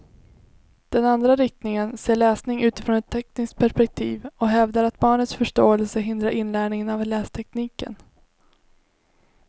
Den andra riktningen ser läsning utifrån ett tekniskt perspektiv och hävdar att barnets förståelse hindrar inlärningen av lästekniken.